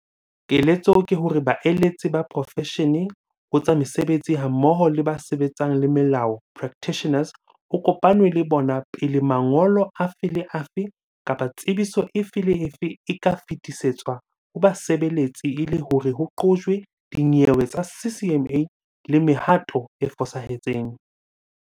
Keletso ke hore baeletsi ba profeshene ho tsa mesebetsi hammoho le ba sebetsanang le melao, practitioners, ho kopanwe le bona pele mangolo afe le afe kapa tsebiso efe le efe e ka fetisetswa ho basebeletsi e le hore ho qojwe dinyewe tsa CCMA le mehato e fosahetseng.